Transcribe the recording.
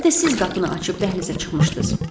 Bir də siz qapını açıb dəhlizə çıxmışdız.